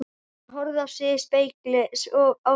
Hún horfði á sig í spegli á veggnum.